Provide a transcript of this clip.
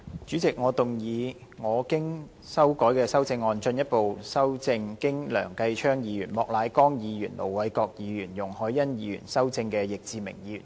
主席，我動議我經修改的修正案，進一步修正經梁繼昌議員、莫乃光議員、盧偉國議員及容海恩議員修正的易志明議員議案。